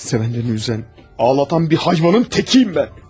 Səni üzən, ağladan bir heyvanın təkıyəm mən.